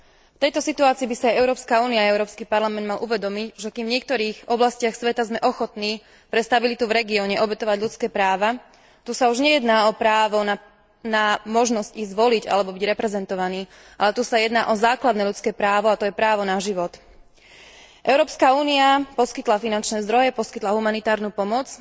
V tejto situácii by si aj Európska únia a Európsky parlament mali uvedomiť, že kým v niektorých oblastiach sveta sme ochotní pre stabilitu v regióne obetovať ľudské práva, tu už nejde o právo na možnosť ísť voliť alebo byť reprezentovaný, ale tu ide o základné ľudské právo, a to je právo na život. Európska únia poskytla finančné zdroje a poskytla humanitárnu pomoc.